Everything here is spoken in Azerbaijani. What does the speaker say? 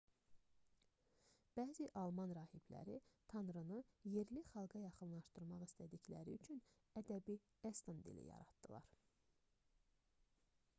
bəzi alman rahibləri tanrını yerli xalqa yaxınlaşdırmaq istədikləri üçün ədəbi eston dili yaratdılar